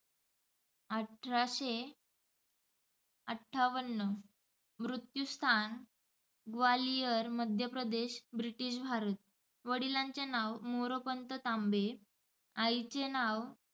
अठराशे अठ्ठावन. मृत्यूस्थान ग्वाल्हेर मध्य प्रदेश ब्रिटिश भारत. वडिलांचे नाव मोरोपंत तांबे, आईचे नाव